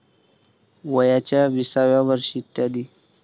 वयाच्या विसाव्या वर्षी, इ.